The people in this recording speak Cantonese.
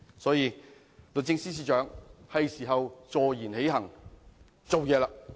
因此，律政司司長，是時候坐言起行，採取行動！